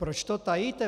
Proč to tajíte?